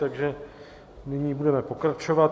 Takže nyní budeme pokračovat.